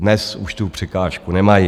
Dnes už tu překážku nemají.